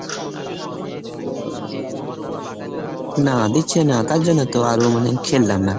না দিচ্ছে না তার জন্য তো আরও মানে খেললাম না।